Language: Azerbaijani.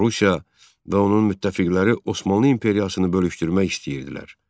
Rusiya və onun müttəfiqləri Osmanlı imperiyasını bölüşdürmək istəyirdilər.